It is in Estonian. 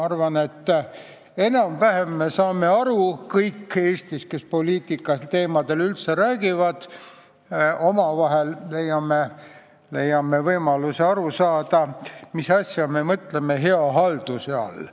Arvan, et me kõik Eestis, kes poliitikateemadel üldse räägime, leiame võimaluse aru saada, mida me hea halduse all mõtleme.